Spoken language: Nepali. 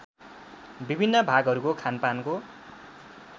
विभिन्न भागहरूको खानपानको